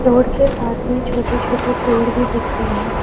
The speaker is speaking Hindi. रोड के पास में छोटे छोटे पेड़ भी दिख रहे हैं।